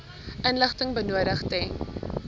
inligting benodig ten